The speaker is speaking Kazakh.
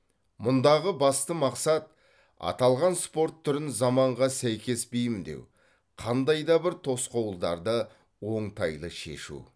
мұндағы басты мақсат аталған спорт түрін заманға сәйкес бейімдеу қандай да бір тосқауылдарды оңтайлы шешу